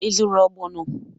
Ị zụrụ ogbono?